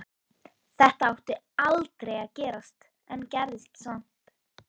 Þetta átti aldrei að gerast en gerðist samt.